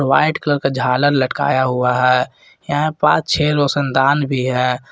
White colour का झालर लटकाया हुआ है यहां पांच छह रोशनदान भी है।